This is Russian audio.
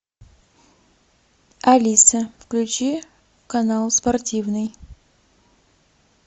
алиса включи канал спортивный